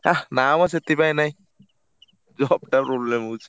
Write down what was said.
ହା ନା ମ ସେଥିପାଇଁ ନାଇଁ job ଟା problem ହଉଛି।